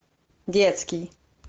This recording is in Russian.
детский